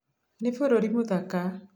Nĩ bũrũri mũthaka.